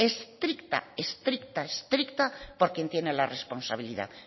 estricta estricta por quien tiene la responsabilidad